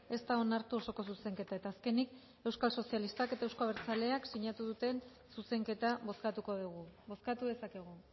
ez da onartu osoko zuzenketa eta azkenik euskal sozialistak eta euzko abertzaleak sinatu duten zuzenketa bozkatuko dugu bozkatu dezakegu